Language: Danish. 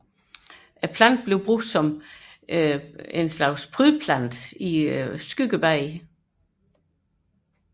Planten bruges som prydplante i skyggebede